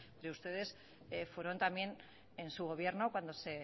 ustedes fueron también en su gobierno cuando